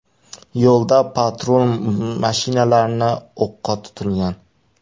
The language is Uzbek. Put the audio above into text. Yo‘lda patrul mashinalarini o‘qqa tutilgan.